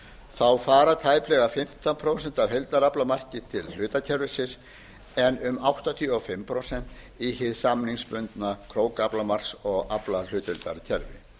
þá fara tæplega fimmtán prósent af heildaraflamarki til hlutakerfisins en um áttatíu og fimm prósent í hið samningsbundna krókaflamarks og aflahlutdeildarkerfi